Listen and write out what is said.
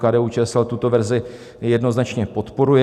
KDU-ČSL tuto verzi jednoznačně podporuje.